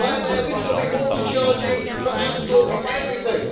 Ryanair literally wants to charge you for absolutely everything.